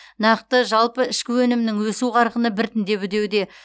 нақты жалпы ішкі өнімнің өсу қарқыны біртіндеп үдеуде